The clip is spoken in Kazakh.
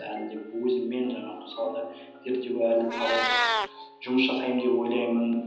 әлі де өзіммен жаңағы мысалға зерттеуге әлі талай жұмыс жасаймын деп ойлаймын